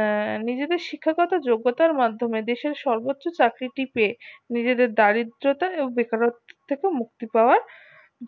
আহ নিজেদের শিক্ষাগত যোগ্যতার মাধ্যমে দেশের সর্বোচ্চ চাকরি টি পেয়ে নিজেদের দারিদ্রতা এবং বেকারত্বতা থেকে মুক্তি পাওয়ার